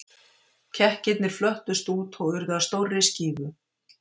Kekkirnir flöttust út og urðu að stórri skífu.